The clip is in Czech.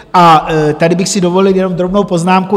A tady bych si dovolil jenom drobnou poznámku.